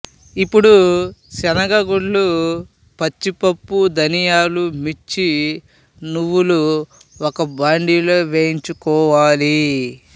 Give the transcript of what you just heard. ఇప్పుడు శనగ గుండ్లు పచ్చిపప్పు ధనియాలు మిర్చి నువ్వులు ఒక భాండీలో వేయించుకోవాలి